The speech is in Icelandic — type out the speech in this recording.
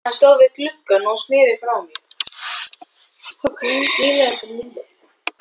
Hann stóð við gluggann og sneri frá mér.